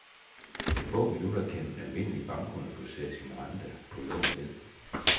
På få minutter kan en almindelig bankkunde få sat sin rente på lån ned.